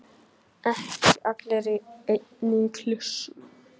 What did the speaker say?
Ekki allir í einni kássu!